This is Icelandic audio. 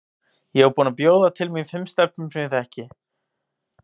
Ég var búin að bjóða til mín fimm stelpum sem ég þekki.